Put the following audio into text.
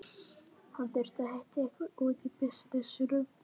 Hann þurfti að hitta einhvern út af bisnessinum.